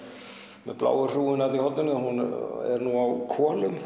með bláu hrúgunni í horninu er af konum